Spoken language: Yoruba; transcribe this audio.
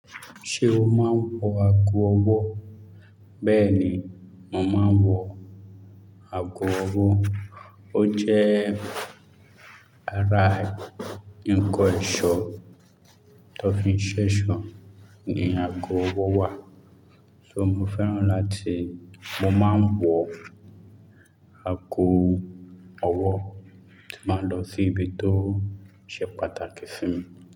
Ṣé o máa ń wọ ago ọwọ́? Bẹ́ẹ̀ ni, mo máa ń wọ ago ọwọ́. Ó jẹ́ ara ǹkan ẹ̀ṣọ́ tó fi ń ṣé ẹ̀ṣọ́ ni ago ọwọ́ wà. So mo fẹ́ràn láti, mo máa ń wọ ago ọwọ́ tí máa ń lọ sí ibi tó ṣe pàtàkì sí mi.